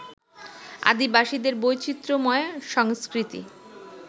আদিবাসীদের বৈচিত্র্যময় সংস্কৃতি